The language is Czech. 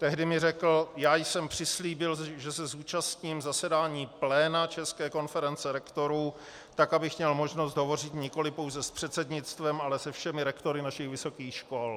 Tehdy mi řekl: "Já jsem přislíbil, že se zúčastním zasedání pléna České konference rektorů tak, abych měl možnost hovořit nikoliv pouze s předsednictvem, ale se všemi rektory našich vysokých škol."